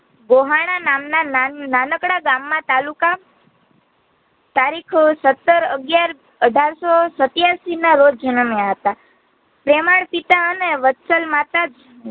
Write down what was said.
ગોહાણ નામના ના નાનકડા ગામનાં તાલુકા તારીખ અ સત્તર અગીયાર અઢારસો સત્યાસી ના રોજ જનમ્યાં હતા પ્રેમાળ પિતા અને વત્સલ માતા